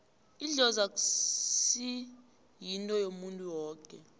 idlozi akusi yinto yomuntu woke